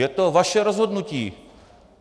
Je to vaše rozhodnutí.